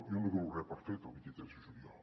jo no dono res per fet el vint tres de juliol